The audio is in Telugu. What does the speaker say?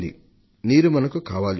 మనకు నీరు కావాలి